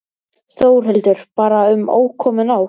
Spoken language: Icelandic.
Þórhildur: Bara um ókomin ár?